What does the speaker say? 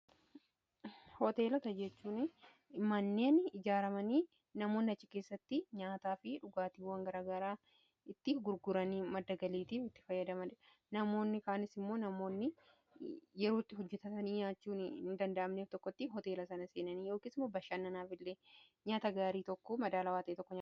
Hooteelota jechuun manneen ijaaramanii namoonni achi keessatti nyaataa fi dhugaatiiwwan gara garaa itti gurguranii maddagaliitiif itti fayyadamadha namoonni kaanes immoo namoonni yerootti hojjetatanii nyaachuun i danda'amneef tokkotti hoteela sana seenanii yookiin isuma bashaannanaaf illee nyaata gaarii tokko madaalaa waan ta'e tokkodha.